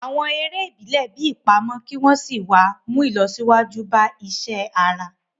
Àwọn eré ìbílẹ̀ bíi ìpamọ́ kí wọ́n sì wá ń mú ìlọsíwájú bá iṣẹ́ ara